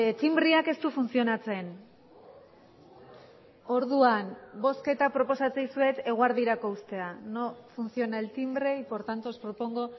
tinbreak ez du funtzionatzen orduan bozketa proposatzen dizuet eguerdirako uztea no funciona el timbre y por tanto os propongo